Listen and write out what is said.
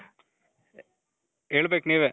ಹೇಳ್ಬೇಕು ನೀವೇ